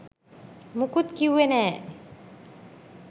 මුකුත් කිව්වේ නෑ